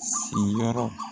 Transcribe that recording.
Si yɔrɔ